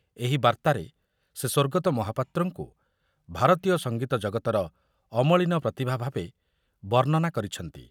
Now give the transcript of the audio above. ଏକ ବାର୍ତ୍ତାରେ ସେ ସ୍ୱର୍ଗତ ମହାପାତ୍ରଙ୍କୁ ଭାରତୀୟ ସଙ୍ଗୀତ ଜଗତର ଅମଳିନ ପ୍ରତିଭାଭାବେ ବର୍ଣ୍ଣନା କରିଛନ୍ତି।